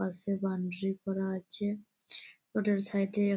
পাশে বাউন্ডারি করা আছে ওটার সাইড এ--